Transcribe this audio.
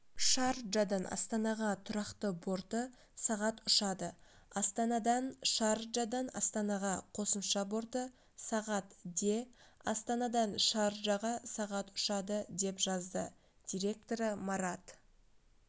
шарджадан астанаға тұрақты борты сағат ұшады астанадан шарджадан астанаға қосымша борты сағат де астанадан шарджаға сағат ұшады деп жазды директоры марат